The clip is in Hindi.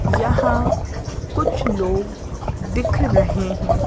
यहां कुछ लोग दिख रहे हैं।